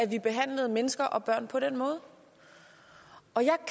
at vi behandlede mennesker og børn på den måde